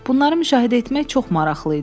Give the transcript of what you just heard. Bunları müşahidə etmək çox maraqlı idi.